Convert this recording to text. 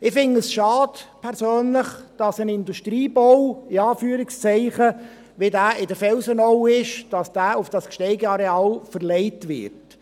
Ich persönlich finde es schade, dass ein «Industriebau» wie dieser in der Felsenau auf das Gsteig-Areal verlegt wird.